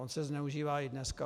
On se zneužívá i dneska.